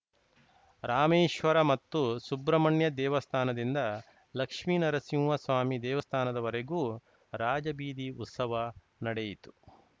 ರಾಮೇಶ್ವರ ಮತ್ತು ಸುಬ್ರಮಣ್ಯ ದೇವಸ್ಥಾನದಿಂದ ಲಕ್ಷ್ಮಿನರಸಿಂಹಸ್ವಾಮಿ ದೇವಸ್ಥಾನದವರೆಗೂ ರಾಜಬೀದಿ ಉತ್ಸವ ನಡೆಯಿತು